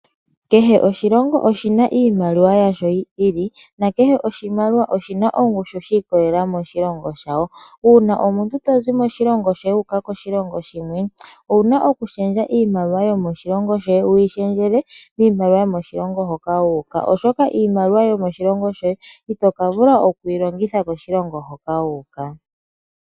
Kehe oshilongo oshina iimaliwa yasho yi ili na kehe oshimaliwa oshina ongushu shi ikolelela moshilongo shawo. Uuna omuntu to zi moshilongo shoye wu uka koshilongo shimwe, owuna okulundululila iimaliwa yomoshilongo shoye wu yi lundululile miimaliwa yomoshilongo moka wa uka. Oshoka iimaliwa yomoshilongo shoye ito ka vula okuyi longitha koshilongo hoka wu uka.